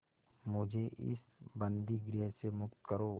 मुझे इस बंदीगृह से मुक्त करो